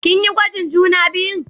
Kin yi gwajin juna biyun?